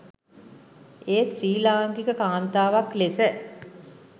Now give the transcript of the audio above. ඒත් ශ්‍රී ලාංකික කාන්තාවක් ලෙස